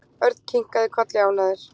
Örn kinkaði kolli ánægður.